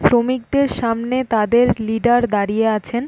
শ্রমিকদের সামনে তাদের লিডার দাঁড়িয়ে আছেন।